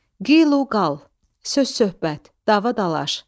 Qiluqal, söz-söhbət, dava-dalaş.